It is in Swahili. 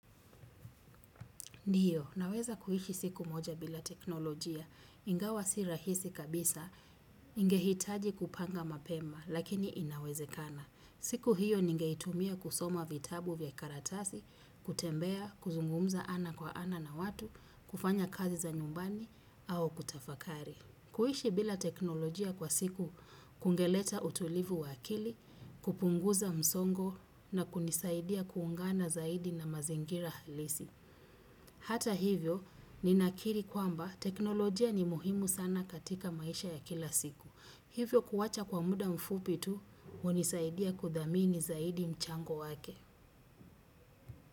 Ndiyo, naweza kuhishi siku moja bila teknolojia, ingawa si rahisi kabisa, ingehitaji kupanga mapema, lakini inawezekana. Siku hiyo ningeitumia kusoma vitabu vya karatasi, kutembea, kuzungumza ana kwa ana na watu, kufanya kazi za nyumbani, au kutafakari. Kuhishi bila teknolojia kwa siku, kungeleta utulivu wakili, kupunguza msongo na kunisaidia kuungana zaidi na mazingira halisi. Hata hivyo, ninakiri kwamba teknolojia ni muhimu sana katika maisha ya kila siku. Hivyo kuwacha kwa muda mfupitu, unisaidia kudamini zaidi mchango wake.